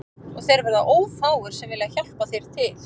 Og þeir verða ófáir sem vilja hjálpa þér til